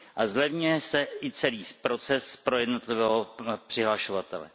A zlevňuje se i celý proces pro jednotlivého přihlašovatele.